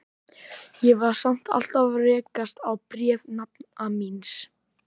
Ég var samt alltaf að rekast á bréf nafna míns.